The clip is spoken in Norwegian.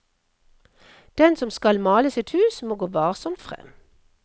Den som skal male sitt hus, må gå varsomt frem.